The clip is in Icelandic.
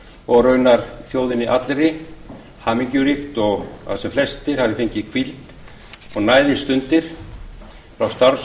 og raunar þjóðinni allri hamingjuríkt og að sem flestir hafi fengið hvíld og næðisstundir frá